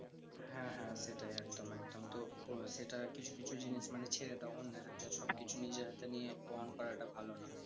হ্যাঁ হ্যাঁ সেটাই একদম একদম। তো সেটা কিছু কিছু জিনিস মানে ছেড়ে দাও অন্যের হাতে। সবকিছু নিজের হাতে নিয়ে প্রমান করাটা ভালো নয়।